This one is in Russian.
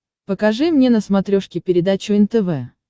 покажи мне на смотрешке передачу нтв